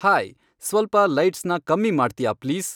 hi ಸ್ವಲ್ಪ ಲೈಟ್ಸ್ನ ಕಮ್ಮಿ ಮಾಡ್ತ್ಯಾ ಪ್ಲೀಸ್